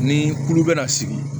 Ni kulu bɛ na sigi